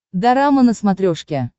дорама на смотрешке